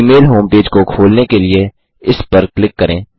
Gmail home page को खोलने के लिए इस पर क्लिक करें